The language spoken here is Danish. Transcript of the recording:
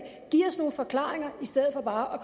giv os nogle forklaringer i stedet for bare